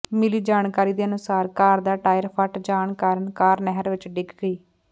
ਮਿਲੀ ਜਾਣਕਾਰੀ ਦੇ ਅਨੁਸਾਰ ਕਾਰ ਦਾ ਟਾਇਰ ਫੱਟ ਜਾਣ ਕਾਰਨ ਕਾਰ ਨਹਿਰ ਵਿੱਚ ਡਿੱਗ ਗਈ